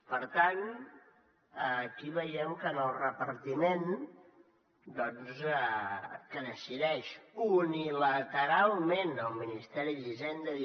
per tant aquí veiem que en el repartiment que decideix unilateralment el ministeri d’hisenda